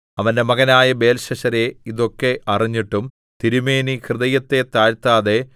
അവന്റെ മകനായ ബേൽശസ്സരേ ഇതൊക്കെ അറിഞ്ഞിട്ടും തിരുമേനി ഹൃദയത്തെ താഴ്ത്താതെ